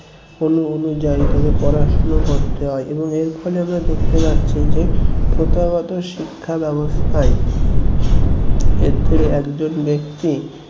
অনু~ অনুযায়ী ভাবে পড়াশোনা করতে হয় এবং এর ফলে আমরা দেখতে পাচ্ছি যে প্রথাগত শিক্ষা ব্যবস্থায় ক্ষেত্রে একজন ব্যক্তি